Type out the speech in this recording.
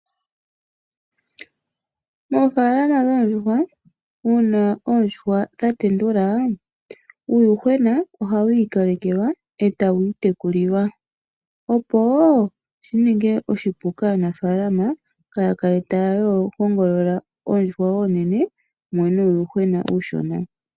Oofalama dhoondjuhwa una oondjuhwa dha tendula uuyuhwena ohawu ikalekelwa e tawu iitekulilwa. Oshika ohashi ningile oshipu kaanafalama okutekula oondjuhwa onene nuuyuhwena uushona .